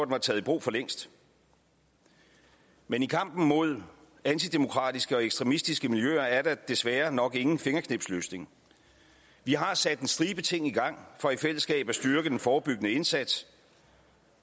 var taget i brug for længst men i kampen mod antidemokratiske og ekstremistiske miljøer er der desværre nok ingen fingerknipsløsning vi har sat en stribe ting i gang for i fællesskab at styrke den forebyggende indsats